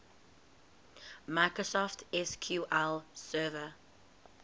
microsoft sql server